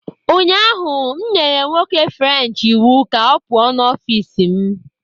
Ụnyahụ m nyere nwoke french iwu ka ọ pụọ n'ọfịs m